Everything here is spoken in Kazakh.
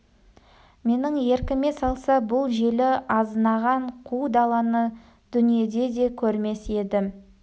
менің еркіме салса бұл желі азынаған қу даланы дүниеде де көрмес едім